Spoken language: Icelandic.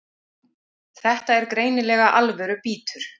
Þetta er greinilega alvöru bítur